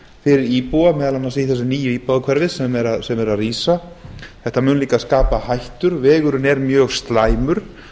fyrir íbúa meðal annars í þessu nýja íbúðahverfi sem er að rísa þetta mun líka skapa hættur vegurinn er mjög slæmur þetta